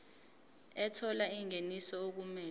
ethola ingeniso okumele